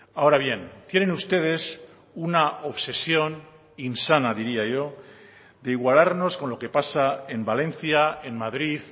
ahora bien tienen ustedes una obsesión insana diría yo de igualarnos con lo que pasa en valencia en madrid